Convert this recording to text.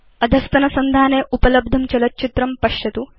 अधस्तनसंधाने उपलब्धं चलच्चित्रं पश्यतु